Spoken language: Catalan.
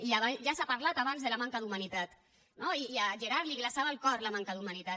i ja s’ha parlat abans de la manca d’humanitat no i a gerard li glaçava el cor la manca d’humanitat